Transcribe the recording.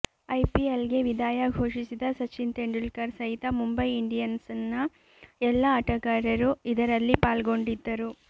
ಐಪಿಎಲ್ಗೆ ವಿದಾಂುು ಘೋಷಿಸಿದ ಸಚಿನ್ ತೆಂಡುಲ್ಕರ್ ಸಹಿತ ಮುಂಬೈ ಇಂಡಿಂುುನ್ಸ್ನ ಎಲ್ಲ ಆಟಗಾರರೂ ಇದರಲ್ಲಿ ಪಾಲ್ಗೊಂಡಿದ್ದರು